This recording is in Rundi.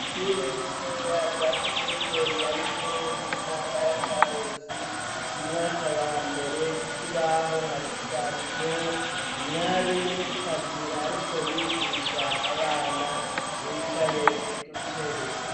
ishure rito rya komine nyabikere muntara ya karusi mumwaka wa mbere kukibaho hashushanijeho umwarimukazi ariko yigisha abana bicaye kudutebe